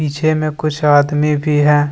पीछे में कुछ आदमी भी है।